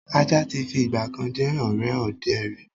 Ajá tí fi ìgbàkan jẹ́ ọ̀rẹ́ ọdẹ ríi